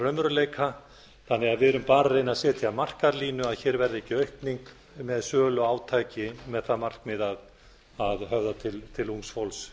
raunveruleika þannig að við erum bara að reyna að setja markalínu að hér verði ekki aukning með söluátaks með það markmið að höfða til ungs fólks